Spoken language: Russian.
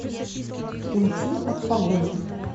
уйти от погони